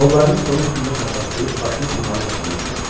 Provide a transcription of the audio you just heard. Qollarını stolun üstündə çarpazlayıb başını onların üstünə qoydu.